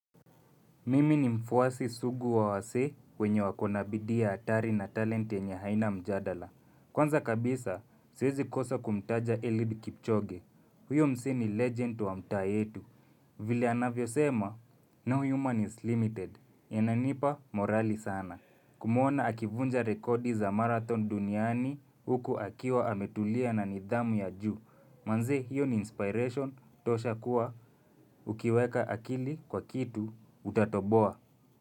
Mimi ni mfuasi sugu wa wasee wenye wako na bidii hatari na talanta yenye haina mjadala. Kwanza kabisa, siwezi kosa kumtaja Eliud Kipchoge. Huyo msee ni legend wa mtaa yetu. Vile anavyo sema, no human is limited. Yananipa morali sana. Kumwona akivunja rekodi za marathon duniani huku akiwa ametulia na nidhamu ya juu. Manze hiyo ni inspiration tosha kuwa ukiweka akili kwa kitu utatoboa.